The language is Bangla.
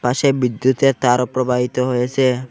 পাশে বিদ্যুতের তারও প্রবাহিত হয়েসে।